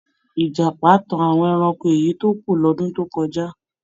Ìjàpá tan àwọn ẹranko èyí tó kù lọ́dún tó kọjá.